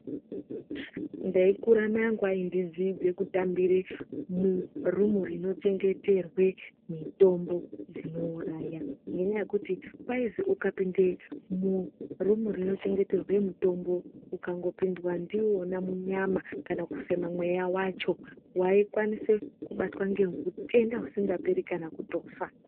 Ndeyi kura mai angu aindi dzidze kutambire mu rumu rino chengeterwe mitombo dzino uraya nge nyaya yekuti kwaizi ukapinde mu rumu rino chengeterwe mitombo ukango pindwa ndiwona munyama kana kufema mweya wachona wakwanisa kubatwa nge utenda usinga peri kana kutofa.